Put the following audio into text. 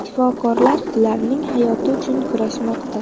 Shifokorlar ularning hayoti uchun kurashmoqda.